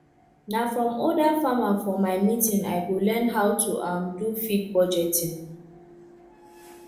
na from older farmerfor my meeting i go learn how to um do feed budgeting